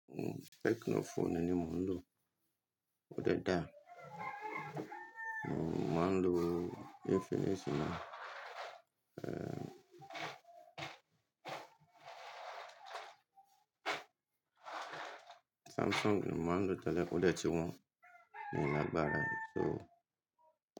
Ohun techno phone ni mo ń lò, ó dẹ dà. Mo máa ń lo Infinix náá, Samsung ni mo máa ń lò tẹ́lẹ̀ ó dẹ ti wọn mi o lágbára e so.